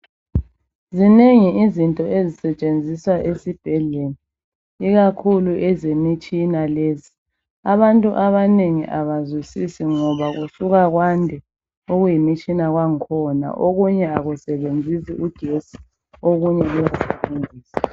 Zinengi izinto ezisetshenziswa esibhedlela ikakhulu ezemitshina lezi abantu abanengi abazwisisi ngoba kusa kuyande okuyimitshina lokhu okunye akusebenzisi igetsi okunye kuyasebenzisa